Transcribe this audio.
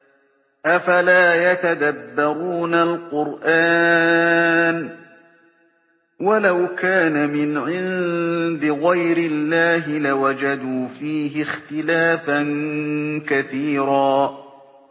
أَفَلَا يَتَدَبَّرُونَ الْقُرْآنَ ۚ وَلَوْ كَانَ مِنْ عِندِ غَيْرِ اللَّهِ لَوَجَدُوا فِيهِ اخْتِلَافًا كَثِيرًا